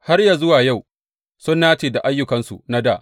Har yă zuwa yau, sun nace da ayyukansu na dā.